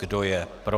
Kdo je proti?